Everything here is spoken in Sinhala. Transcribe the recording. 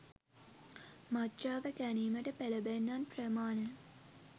මත්ද්‍රව්‍ය ගැනීමට පෙලඹෙන්නන් ප්‍රමාණය